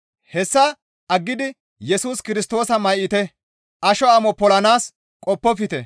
Hessa aggidi Yesus Kirstoosa may7ite; asho amo polanaas qoppofte.